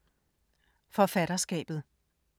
Forfatterskabet